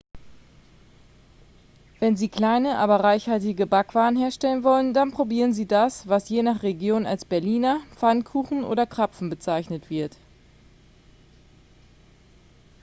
wenn sie kleine aber reichhaltige backwaren herstellen wollen dann probieren sie das was je nach region als berliner pfannkuchen oder krapfen bezeichnet wird